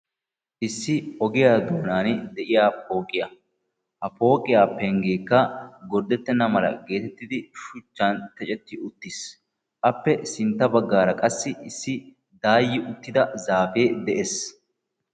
iss ogiyaa doonaani de'iya pooqqiya. Ha pooqqiya pengeekka gordetenna mala shuchan ticetti uttis. Appe sintta bagaara qassi issi daayi uttida zaafee de'ees.